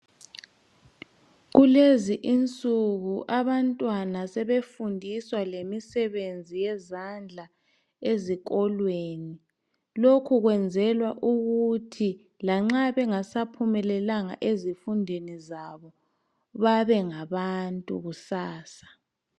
Kulezi unsuku abantwana sebefundiswa lemisebenzi yezandla ezikolweni. Lokhu kwenzelwa ukuthi lanxa bengasaphumelelanga ezifundweni zabo, babengabantu kusasa.